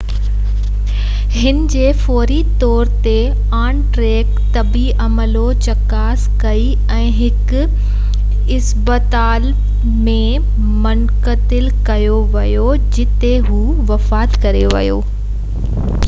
هن جي فوري طور تي آن-ٽريڪ طبي عملو چڪاس ڪئي ۽ هڪ مقامي اسپتال ڏانهن منتقل ڪيو ويو جتي هو بعد ۾ وفات ڪري ويو